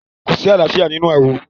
kòsí àlàáfíà nínú ááwọ̀.